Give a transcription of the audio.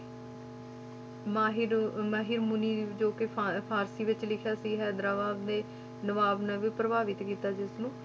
ਮਾਹਿਰ ਅਹ ਮਹੀਮੁਨੀ ਜੋ ਕਿ ਫਾ~ ਫ਼ਾਰਸ਼ੀ ਵਿੱਚ ਲਿਖਿਆ ਸੀ ਹੈਦਰਾਬਾਦ ਦੇ ਨਵਾਬ ਨੂੰ ਵੀ ਪ੍ਰਭਾਵਿਤ ਕੀਤਾ ਜਿਸਨੂੰ।